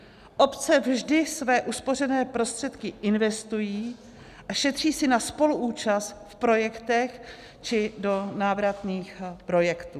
Obce vždy své uspořené prostředky investují a šetří si na spoluúčast v projektech či do návratných projektů.